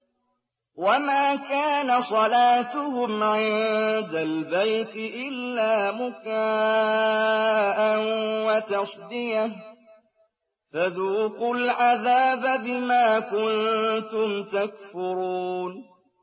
وَمَا كَانَ صَلَاتُهُمْ عِندَ الْبَيْتِ إِلَّا مُكَاءً وَتَصْدِيَةً ۚ فَذُوقُوا الْعَذَابَ بِمَا كُنتُمْ تَكْفُرُونَ